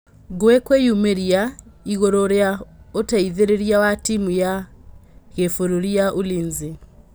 Ngũi kwĩ yumĩ ria igũrũ rĩ a ũteithĩ rĩ ria wa timu ya gĩ bururĩ ya Ulinzi.